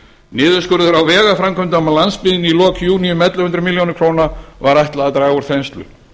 niðurskurður á vegaframkvæmdum á landsbyggðinni í lok júní um ellefu hundruð milljóna króna var ætlað að draga úr þenslu